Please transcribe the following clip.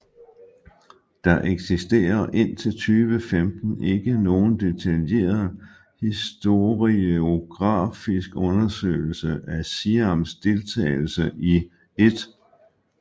Der eksisterer indtil 2015 ikke nogen detaljeret historiografisk undersøgelse af Siams deltagelse i 1